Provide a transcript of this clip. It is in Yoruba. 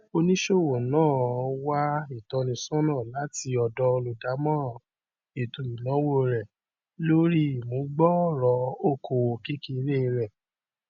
oníṣòwò náà ó wá ìtọnísọnà láti ọdọ olùdámọràn ètòìnàwó rẹ lórí imú gbòòrò okòwò kékeré rẹ